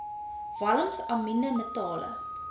walms amiene metale